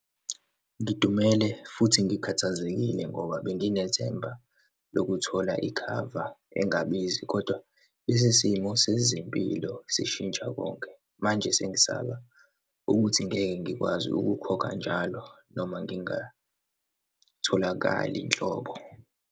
Ngidumele futhi ngikhathazekile ngoba benginethemba lokuthola ikhava engabizi, kodwa isisimo sezempilo sishintsha konke, manje sengisaba ukuthi ngeke ngikwazi ukukhokha njalo noma ngingatholakali nhlobo.